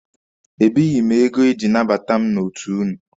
Ebighị m ego eji anabata mmadụ n'otu ụnụ.